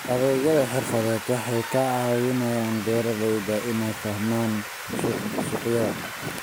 Adeegyada xirfadeed waxay ka caawiyaan beeralayda inay fahmaan suuqyada.